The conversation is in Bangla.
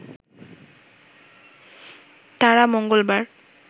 তারা মঙ্গলবার